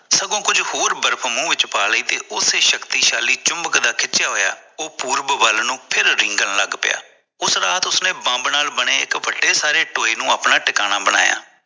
ਸਗੋਂ ਕੁੱਜ ਹੋਰ ਬਰਫ਼ ਮੂੰਹ ਵਿਚ ਪਾ ਲਈ ਤੇ ਉਸੇ ਸ਼ਕਤੀਸ਼ਾਲੀ ਚੁਮਬਕ ਦਾ ਖਿੱਚਿਆ ਹੋਇਆ ਉਹ ਪੁਰਬ ਵੱਲ ਨੂੰ ਫਿਰ ਰਿੰਗਣ ਲਗ ਪਇਆ ਉਸ ਰਾਤ ਉਸਨੇ ਬੰਬ ਨਾਲ ਬਣੇ ਇਕ ਵੱਡੇ ਸਾਰੇ ਟੋਏ ਨੂੰ ਅਪਣਾ ਟਿਕਾਣਾ ਬਣਾਇਆ